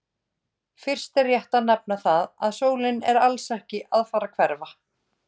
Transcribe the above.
Fyrst er rétt að nefna það að sólin er alls ekki að fara að hverfa!